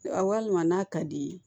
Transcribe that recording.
Walima n'a ka d'i ye